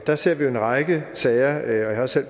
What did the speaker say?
der ser vi jo en række sager jeg har selv